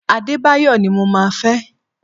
Adebayo ni mo máa fẹ́!